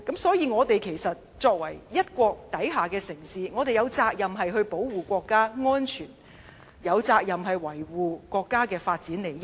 因此我們作為一國之下的城市，有責任保護國家安全，有責任維護國家發展利益。